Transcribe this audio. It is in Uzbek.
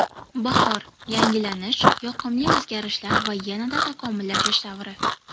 Bahor – yangilanish, yoqimli o‘zgarishlar va yanada takomillashish davri.